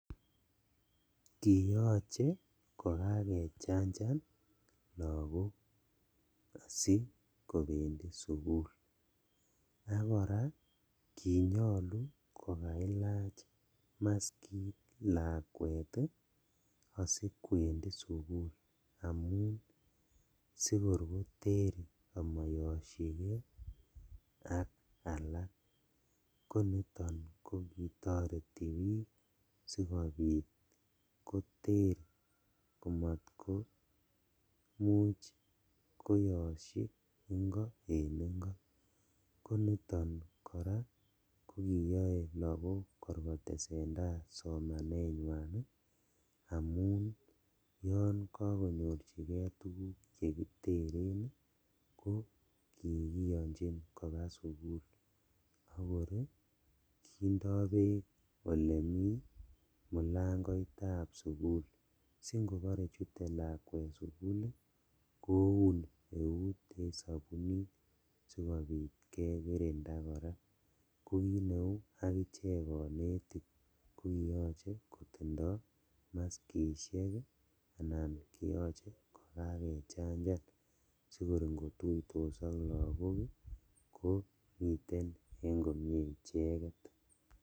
Kiyoche kokakechanjan lakok asikobendi sukul ak koraa kinyolu kokailach maskit lakwet ii asikwendi sukul amun ii asikor koter omoyoshikee ak alak, koniton kokitoreti bik sikobit koter komot koyoshi ingo en ingo, koniton koraa kokiyoe lagok kor kotesendaa somanenywan amun yon kokonyorjigee tuguk chekiteren ii ko kikiyonjin kobaa sugul, akor kindo beek elemi mulangoitab sugul si ingobore chute lakwet sugul ii koun euit en sobunit sikobit kekirinda koraa, kokineu akichek konetik kokiyoche kotindo muskishek ii anan kiyoche kokakechanja sikor ingotuitos ak lakok ii komie icheket.